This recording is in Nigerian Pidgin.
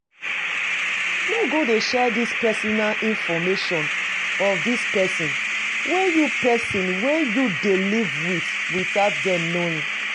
No go dey share the personal information of di person wey you person wey you dey live with without them knowing